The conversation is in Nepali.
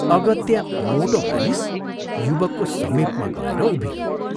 अगत्या मोटो मानिस युवकको समीपमा गएर उभियो।